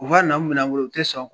U b'a naamu minɛn bolo u tɛ sɔn